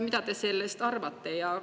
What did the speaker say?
Mida te sellest arvate?